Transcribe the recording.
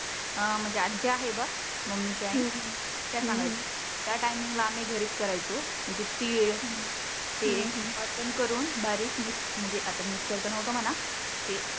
अं म्हणजे आजी आहे बघ मम्मी ची आई त्या सांगायच्या त्या टायमींग ला आम्ही घरीच करायचो. म्हणजे तीळ तेल वाटन करुण बारीक मिक्स म्हणजे आता मिस्कर तर नव्हतं म्हणा. ते